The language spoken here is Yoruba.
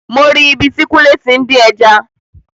Mo ri ibi tí kúnlé tí ń dín ẹja